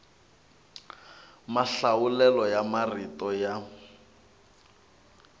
mahlawulelo ya marito ya